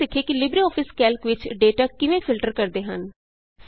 ਆਉ ਹੁਣ ਸਿੱਖੀਏ ਕਿ ਲਿਬਰੇਆਫਿਸ ਕੈਲਕ ਵਿਚ ਡੇਟਾ ਕਿਵੇਂ ਫਿਲਟਰ ਕਰਦੇ ਹਨ